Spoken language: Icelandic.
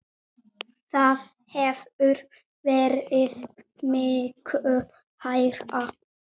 Það hefur verið miklu hærra.